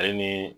Ale ni